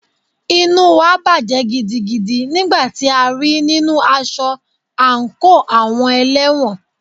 Inú wa bàjẹ́ gidigidi nígbà tí a rí í nínu aṣọ àńkò àwọn ẹlẹ́wọ̀n.